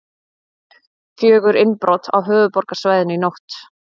Fjögur innbrot á höfuðborgarsvæðinu í nótt